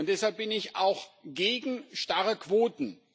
Deshalb bin ich auch gegen starre Quoten.